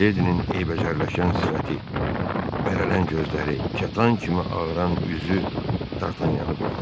Miledinin eybəcərləşən sifəti, bərələən gözləri, kətan kimi ağaran üzü Dartanyanı qorxutdu.